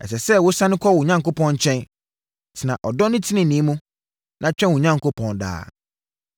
Ɛsɛ sɛ wo sane kɔ wo Onyankopɔn nkyɛn. Tena ɔdɔ ne tenenee mu, na twɛn wo Onyankopɔn daa.